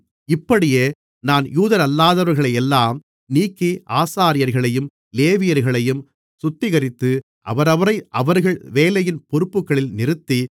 இப்படியே நான் யூதரல்லாதவர்களையெல்லாம் நீக்கி ஆசாரியர்களையும் லேவியர்களையும் சுத்திகரித்து அவரவரை அவர்கள் வேலையின் பொறுப்புகளில் நிறுத்தி